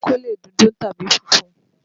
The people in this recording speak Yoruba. Pátákó lè dúdú tàbí funfun.